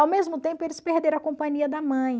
Ao mesmo tempo, eles perderam a companhia da mãe.